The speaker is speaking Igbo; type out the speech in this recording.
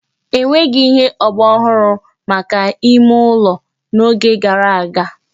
E nweghị ihe ọgbaraọhụrụ maka ime ụlọ n'oge gara aga